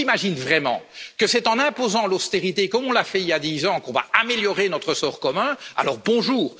Si l'on s'imagine vraiment que c'est en imposant l'austérité, comme nous l'avons fait il y a dix ans, que nous allons améliorer notre sort commun, alors bonjour!